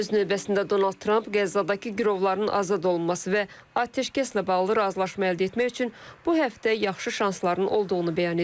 Öz növbəsində Donald Tramp Qəzzadakı girovların azad olunması və atəşkəslə bağlı razılaşma əldə etmək üçün bu həftə yaxşı şansların olduğunu bəyan edib.